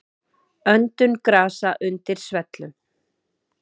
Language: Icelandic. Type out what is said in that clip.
Öndun grasa undir svellum.